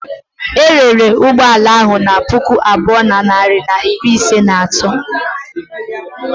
E rere ụgbọ ala ahụ na puku abụọ na narị na iri ise na atọ.